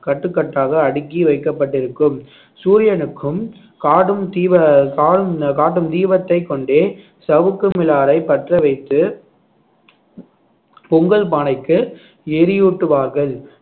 கட்டுக்கட்டாக அடுக்கி வைக்கப்பட்டிருக்கும் சூரியனுக்கும் காடும் தீப~ காட்டும் தீபத்தை கொண்டே சவுக்கு மிலாரை பற்ற வைத்து பொங்கல் பானைக்கு எரியூட்டுவார்கள்